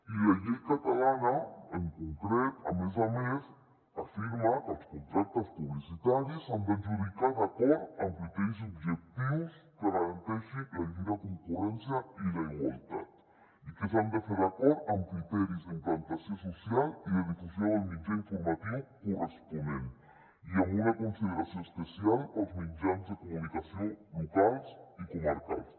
i la llei catalana en concret a més a més afirma que els con·tractes publicitaris s’han d’adjudicar d’acord amb criteris objectius que garanteixin la lliure concurrència i la igualtat i que s’han de fer d’acord amb criteris d’implanta·ció social i de difusió del mitjà informatiu corresponent i amb una consideració es·pecial pels mitjans de comunicació locals i comarcals